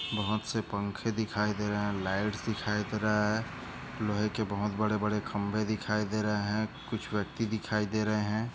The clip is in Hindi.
बहुत से पंखे दिखाई दे रहे है लाइट दिखाई दे रहे है लोहे के बहुत बहुत बड़े बड़े खंबे दिखाई दे रहे है कुछ व्यक्ती दिखाई दे रहे है।